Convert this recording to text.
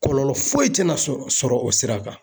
Kɔlɔlɔ foyi tɛna sɔrɔ o sira kan.